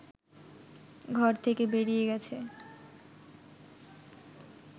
ঘর থেকে বেরিয়ে গেছে